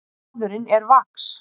Maðurinn er vax.